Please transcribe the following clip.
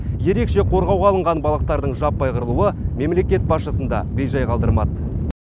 ерекше қорғауға алынған балықтардың жаппай қырылуы мемлекет басшысын да бей жай қалдырмады